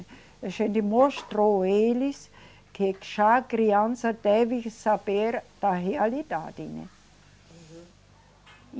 A gente mostrou eles que já criança deve saber da realidade, né. Uhum